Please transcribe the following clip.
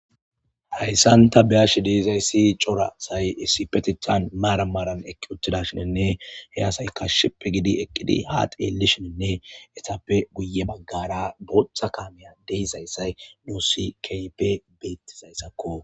hayssanta beash deizayssi cora say issipetechan maara maran ekki uchthida shinenne hey asayka shippe gidi eqqidi ha xeellishininne etappe guye baggara booththa kaamiya deizayssay dusikpe beettizayssakko